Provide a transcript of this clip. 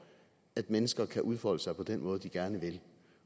at mennesker kan udfolde sig på den måde de gerne vil